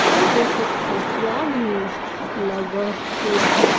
और एक एक तकिया भी लगा हुआ है।